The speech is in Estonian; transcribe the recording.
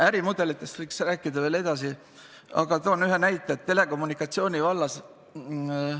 Ärimudelitest võiks veelgi rääkida, aga toon vaid ühe näite telekommunikatsiooni vallast.